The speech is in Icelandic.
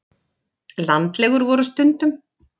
Landlegur voru stundum.